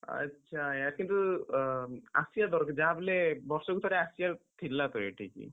ଆଚ୍ଛା! କିନ୍ତୁ ଅ ଆସିଆ ଦରକାର ଯାହା ବି ହେଲେ ବର୍ଷକୁ ଥରେ ଆସିଆକୁ, ଥିଲା ତ ଏଠିକି।